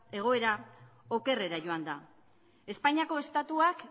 egoera okerrera joan da espainiako estatuak